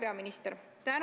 Hea peaminister!